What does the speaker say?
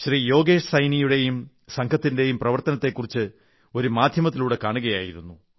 യോഗേശ് സൈനിയുടെയും സംഘത്തിന്റെയും പ്രവർത്തനത്തെക്കുറിച്ച് ഒരു മാധ്യമത്തിലൂടെ കാണുകയായിരുന്നു